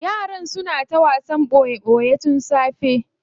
Yaran suna ta wasan boye boye tun da safe.